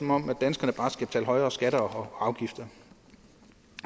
om at danskerne bare skal betale højere skatter og afgifter